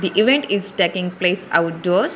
The event is taking place outdoors.